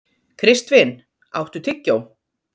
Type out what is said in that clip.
Kristvin, áttu tyggjó?